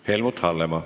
Helmut Hallemaa.